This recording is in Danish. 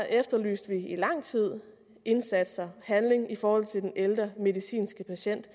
efterlyste vi i lang tid indsatser og handling i forhold til den ældre medicinske patient